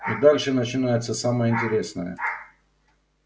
и дальше начинается самое интересное